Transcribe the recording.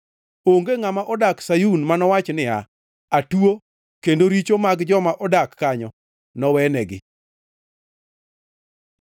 Onge ngʼama odak Sayun manowachi niya, “Atuo,” kendo richo mag joma odak kanyo nowenegi.